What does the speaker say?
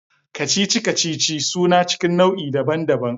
Kacici-kacici suna cikin nau'i daban-daban.